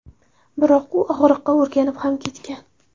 Biroq u og‘riqqa o‘rganib ham ketgan.